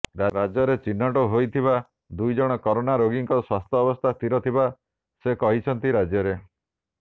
ରାଜ୍ୟରେ ଚିହ୍ନଟ ହୋଇଥିବା ଦୁଇ ଜଣ କରୋନା ରୋଗୀଙ୍କ ସ୍ୱାସ୍ଥ୍ୟବସ୍ଥା ସ୍ଥିର ଥିବା ସେ କହିଛନ୍ତି ରାଜ୍ୟରେ